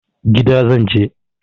Gida zan je.